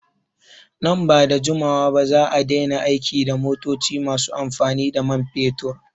Nan bada jimawa ba za'a daina aiki da motoci masu amfani da man fetur